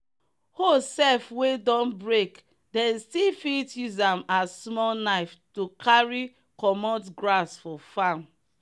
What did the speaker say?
hoe seff wey don breake them still fit use am as small knife to carry cummot grass for farm.